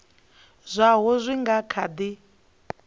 zwaho zwi nga kha di